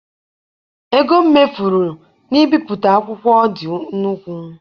Ego m mefuru na ị bipụta akwụkwọ dị nnukwu.